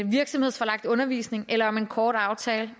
virksomhedsforlagt undervisning eller om en kort aftale